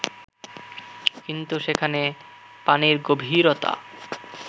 কিন্তু সেখানে পানির গভীরতা